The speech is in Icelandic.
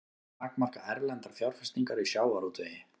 Vilja takmarka erlendar fjárfestingar í sjávarútvegi